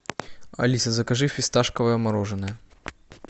алиса закажи фисташковое мороженое